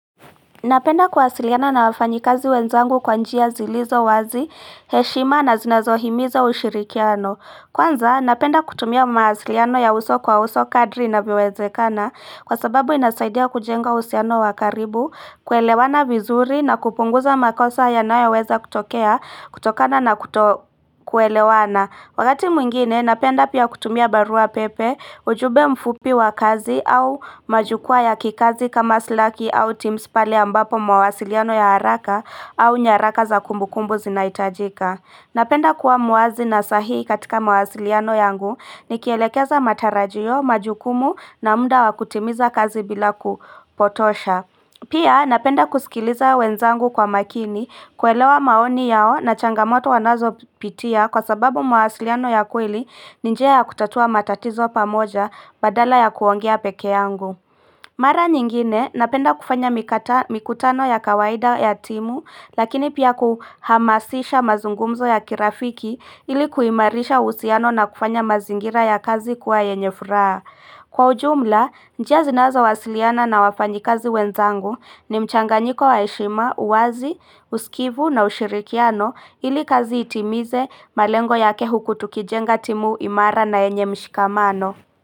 Napenda kuwasiliana na wafanyi kazi wenzangu kwa njia zilizo wazi, heshima na zinazohimiza ushirikiano. Kwanza, napenda kutumia mawasiliano ya uso kwa uso kadri inavowezekana kwa sababu inasaidia kujenga uhusiano wa karibu, kuelewana vizuri na kupunguza makosa yanayoweza kutokana na kutokuelewana. Wakati mwingine napenda pia kutumia barua pepe ujumbe mfupi wa kazi au majukwaa ya kikazi kama slaki au tims pale ambapo mawasiliano ya haraka au nyaraka za kumbu kumbu zinaitajika. Napenda kuwa muwazi na sahihi katika mawasiliano yangu nikielekeza matarajio majukumu na muda wa kutimiza kazi bila kupotosha. Pia napenda kusikiliza wenzangu kwa makini kuelewa maoni yao na changamoto wanazopitia kwa sababu mahasiliano ya kweli njia ya kutatua matatizo pamoja badala ya kuongea pekee yangu. Mara nyingine napenda kufanya mikutano ya kawaida ya timu lakini pia kuhamasisha mazungumzo ya kirafiki ili kuimarisha uhusiano na kufanya mazingira ya kazi kuwa yenye furaha. Kwa ujumla, njia zinazowasiliana na wafanyi kazi wenzangu ni mchanganyiko wa heshima, uwazi, usikivu na ushirikiano ili kazi itimize malengo yake huku tukijenga timu imara na yenye mshikamano.